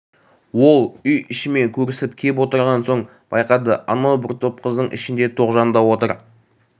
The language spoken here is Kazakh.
ол үй ішімен көрісіп кеп отырған соң байқады анау бір топ қыздың ішінде тоғжан да отыр